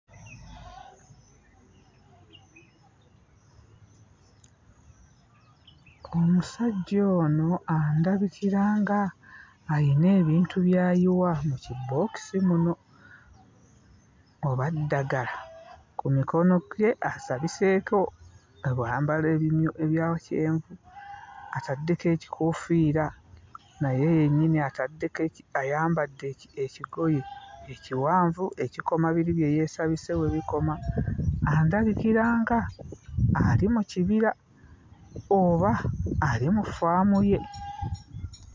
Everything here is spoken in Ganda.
Omusajja ono andabikira ng'ayina ebintu by'ayiwa mu kibookisi muno, oba ddagala? Ku mikono gye asabiseeko ebyambalo ebimyu ebya kyenvu, ataddeko ekikoofiira, naye yennyini ataddeko eki ayambadde eki ekigoye ekiwanvu ekikoma biri bye yeesabise we bikoma. Andabikira ng'ali mu kibira oba ali mu ffaamu ye.